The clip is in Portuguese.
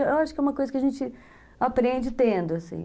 Eu acho que é uma coisa que a gente aprende tendo, assim.